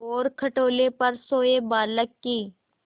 और खटोले पर सोए बालक की